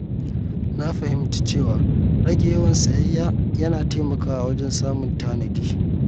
Na fahimci cewa rage yawan sayayya yana taimakawa wajen samun tanadi.